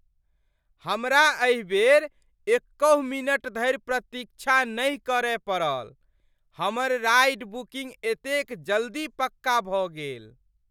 हमरा एहि बेर एकहुँ मिनट धरि प्रतीक्षा नहि करय पड़ल। हमर राइड बुकिंग एतेक जल्दी पक्का भऽ गेल!